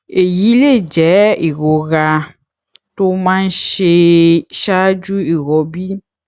èyí lè jẹ ìrora tó máa ń ṣe ẹ ṣáájú ìrọbí